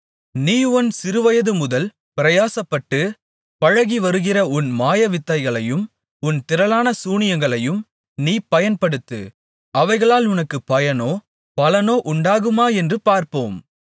நீ உன் சிறுவயதுமுதல் பிரயாசப்பட்டுப் பழகிவருகிற உன் மாயவித்தைகளையும் உன் திரளான சூனியங்களையும் நீ பயன்படுத்து அவைகளால் உனக்குப் பயனோ பலனோ உண்டாகுமா என்று பார்ப்போம்